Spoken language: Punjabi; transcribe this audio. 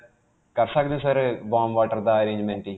ਕਰ ਸਕਦੇ ਹੋ sir warm water ਦਾ arrangement ਜੀ?